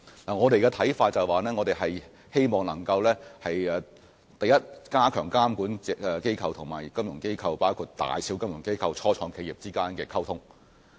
我們的看法是，我們希望首先能加強監管機構與金融機構和初創企業之間的溝通。